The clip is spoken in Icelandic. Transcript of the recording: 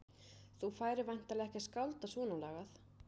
Þú færir væntanlega ekki að skálda svona lagað?